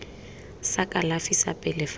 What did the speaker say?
sa kalafi sa pele fa